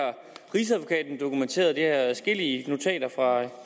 rigsadvokaten dokumenteret det har adskillige notater fra